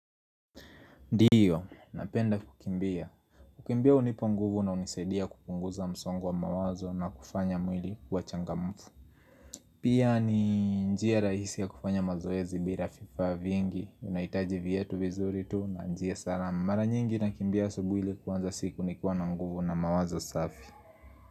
Ndiyo, napenda kukimbia. Kukimbia unipa nguvu na unisadia kupunguza msongo wa mawazo na kufanya mwili kiwa changamufu. Pia ni njia rahisi ya kufanya mazoezi bila vifaa vingi. Unaitaji viatu vizuri tu na njia salama. Mara nyingi nakimbia asubuhi ili kuanza siku nikiwa na nguvu na mawazo safi.